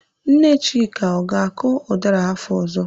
Nne Chika, ọ ga-akọ ụdara afọ ọzọ?